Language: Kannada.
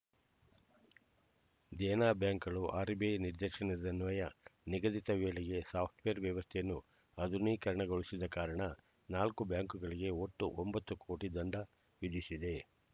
ದೇನಾ ಬ್ಯಾಂಕುಗಳು ಆರ್‌‌ಬಿಐ ನಿರ್ದೇಶದನ್ವಯ ನಿಗದಿತ ವೇಳೆಗೆ ಸಾಫ್ಟ್‌ವೇರ್ ವ್ಯವಸ್ಥೆಯನ್ನು ಆಧುನೀಕರಣಗೊಳಿಸದ ಕಾರಣ ನಾಲ್ಕು ಬ್ಯಾಂಕುಗಳಿಗೆ ಒಟ್ಟು ಒಂಬತ್ತು ಕೋಟಿ ದಂಡ ವಿಧಿಸಿದೆ